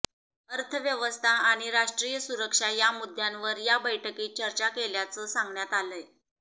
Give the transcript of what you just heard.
अर्थव्यवस्था आणि राष्ट्रीय सुरक्षा या मुद्द्यांवर या बैठकीत चर्चा केल्याचं सांगण्यात आलंय